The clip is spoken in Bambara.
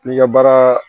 N'i ka baara